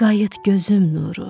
Qayıt gözüm nuru.